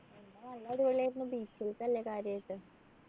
നല്ല അടിപൊളി ആയിരുന്നു beaches അല്ലെ കാര്യായിട്ട്